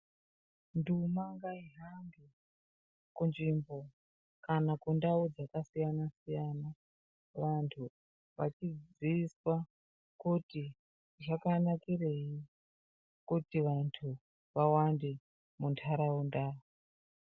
Nduma ngaihambe kunzvimbo kana kundau dzakasiyana siyana. Vantu vachiziiswa kuti zvakanakirei kuti vantu vawande munharaunda.